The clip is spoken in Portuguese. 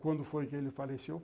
Quando foi que ele faleceu?